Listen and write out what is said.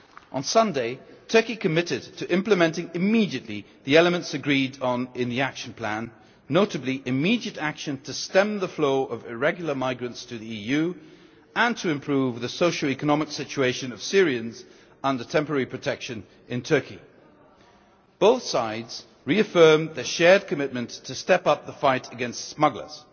On Sunday, Turkey committed to implementing immediately the elements agreed on in the action plan, notably immediate action to stem the flow of irregular migrants to the EU and to improve the socio economic situation of Syrians under temporary protection in Turkey. Both sides reaffirmed their shared commitment to step up the fight against smugglers.